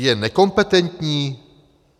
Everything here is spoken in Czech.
Je nekompetentní?